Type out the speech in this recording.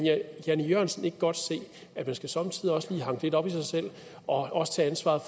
jan e jørgensen ikke godt se at man somme tider også lige skal hanke lidt op i sig selv og også tage ansvaret